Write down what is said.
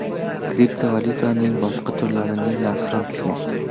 Kriptovalyutaning boshqa turlarining narxi ham tushmoqda.